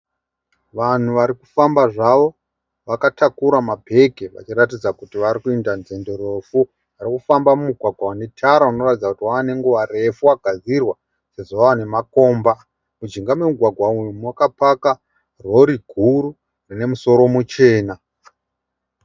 Vanhu varikufamba zvavo vakatakura mabhegi vachiratidza kuti varikuenda nzendo refu. Varikufamba mumugwagwa mune tara inoratidza kuti wave nenguva refu wagadzirwa sezvo wave nemakomba. Mujinga memugwagwa umu makapaka rori guru rine musoro muchena .